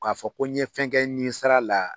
K'a fɔ ko n ɲe fɛn kɛ nin sira la